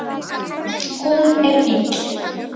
Hún er ill